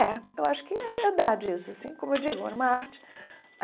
É, eu acho que é verdade isso, assim, como eu digo, era uma arte.